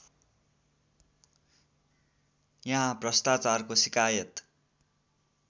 यहाँ भ्रष्टाचारको सिकायत